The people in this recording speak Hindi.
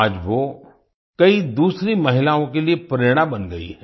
आज वो कई दूसरी महिलाओं के लिए प्रेरणा बन गई हैं